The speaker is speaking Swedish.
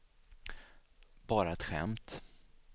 bara ett skämt